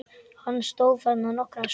Hann stóð þarna nokkra stund.